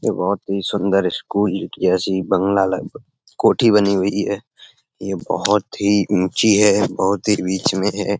यह बहुत ही सुन्दर स्कूल जेसी बगंला लग कोठी बनी हुई है। यह बोहोत ही ऊँची है बोहोत ही बीच मे है।